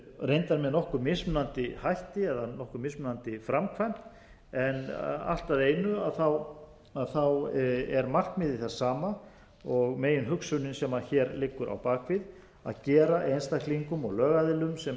reyndar með nokkuð mismunandi hætti eða nokkuð mismunandi framkvæmd allt að einu er markmiðið það sama og meginhugsunin sem hér liggur á bak við að gera einstaklingum og lögaðilum sem